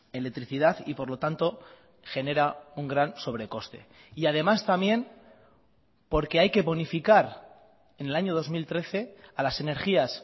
electricidad y por lo tanto genera un gran sobrecoste y además también porque hay que bonificar en el año dos mil trece a las energías